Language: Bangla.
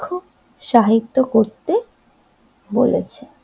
ক্ষ সাহিত্য করতে বলেছে।